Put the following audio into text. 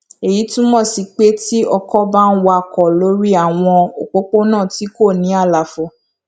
èyí túmọ sí pé tí ọkọ bá ń wakò lórí àwọn òpópónà tí kò ní àlàfo